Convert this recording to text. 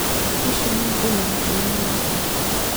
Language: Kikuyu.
Ici nĩ ndwĩ matũ-inĩ maku